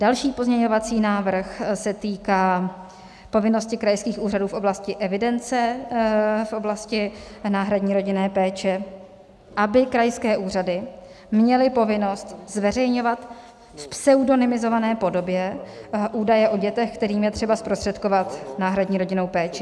Další pozměňovací návrh se týká povinnosti krajských úřadů v oblasti evidence v oblasti náhradní rodinné péče, aby krajské úřady měly povinnost zveřejňovat v pseudonymizované podobě údaje o dětech, kterým je třeba zprostředkovat náhradní rodinnou péči.